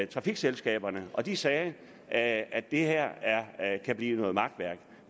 trafikselskaberne og de sagde at at det her kan blive noget makværk